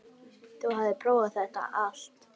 Þú hafðir prófað þetta allt.